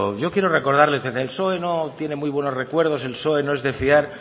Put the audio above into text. yo quiero recordarle de que el psoe no tiene muy buenos recuerdos el psoe no es de fiar